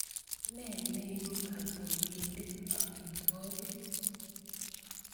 Ne neipu kotutikinit amitwogik?